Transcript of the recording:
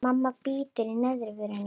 Mamma bítur í neðri vörina.